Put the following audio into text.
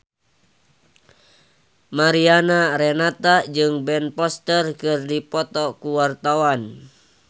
Mariana Renata jeung Ben Foster keur dipoto ku wartawan